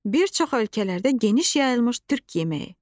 Bir çox ölkələrdə geniş yayılmış Türk yeməyi.